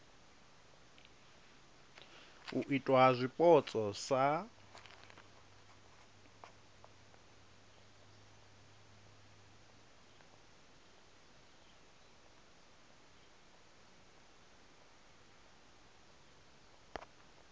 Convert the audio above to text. u itwa ha zwipotso sa